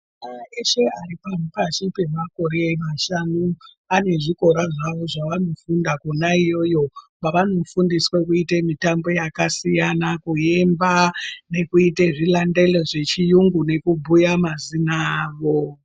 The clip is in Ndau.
Ana eshe aripashi pemakora mashanu anezvikora zvawo zvaanofunda kona iyoyo kwavano fundiswa kuite mitambo yakasiyana kuyimba nekuite zvilandelo zvechi yungu nekubhuya mazino avo